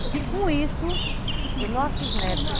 E que com isso, os nossos netos